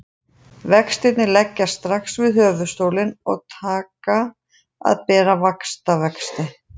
Vextirnir leggjast strax við höfuðstólinn og taka að bera vaxtavexti.